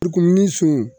Kumuni sun